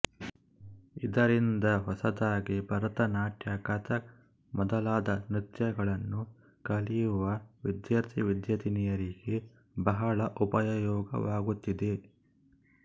ಇದರಿಂದ ಹೊಸದಾಗಿ ಭರತನಾಟ್ಯ ಕಥಕ್ ಮೊದಲಾದ ನೃತ್ಯಗಳನ್ನು ಕಲಿಯುವ ವಿದ್ಯಾರ್ಥಿವಿದ್ಯಾರ್ಥಿನಿಯರಿಗೆ ಬಹಳ ಉಪಯೋಗವಾಗುತ್ತಿದೆ